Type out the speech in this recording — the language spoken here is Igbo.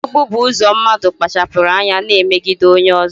Mmegbu bụ ụzọ mmadụ kpachapụrụ anya na-emegide onye ọzọ